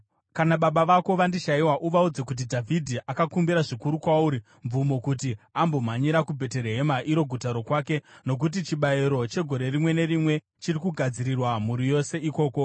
Kana baba vako vandishayiwa uvaudze kuti Dhavhidhi akakumbira zvikuru kwauri mvumo kuti ambomhanyira kuBheterehema, iro guta rokwake, nokuti chibayiro chegore rimwe nerimwe chiri kugadzirirwa mhuri yose ikoko.